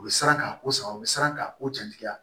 U bɛ siran ka ko sar'u bɛ siran ka o jatigiya